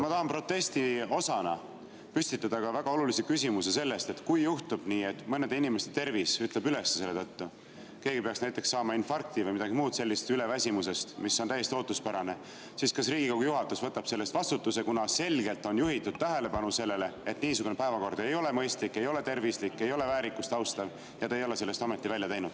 Ma tahan protesti osana püstitada ka väga olulise küsimuse sellest, et kui juhtub nii, et mõne inimese tervis ütleb üles selle tõttu, keegi peaks saama näiteks infarkti või midagi muud sellist üleväsimusest, mis on täiesti ootuspärane, siis kas Riigikogu juhatus võtab selle eest vastutuse, kuna selgelt on juhitud tähelepanu sellele, et niisugune päevakord ei ole mõistlik, ei ole tervislik, ei ole väärikust austav, aga te ei ole sellest ometi välja teinud.